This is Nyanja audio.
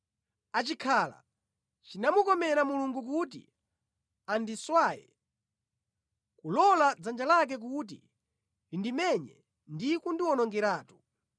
achikhala chinamukomera Mulungu kuti anditswanye, kulola dzanja lake kuti lindimenye ndi kundiwonongeratu!